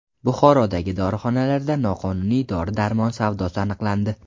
Buxorodagi dorixonalarda noqonuniy dori-darmon savdosi aniqlandi.